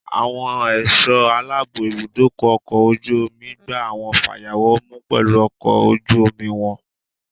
Àwọn ẹ̀sọ́ aláàbò ibùdókọ̀ ọkọ̀ ojú omi gba àwọn fayawọ̀ mú pelu ọkọ̀ ojú omi wọn.